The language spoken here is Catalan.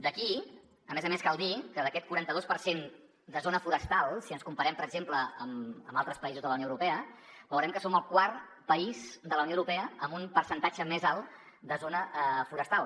aquí a més a més cal dir que d’aquest quaranta dos per cent de zona forestal si ens comparem per exemple amb altres països de la unió europea veurem que som el quart país de la unió europea amb un percentatge més alt de zona forestal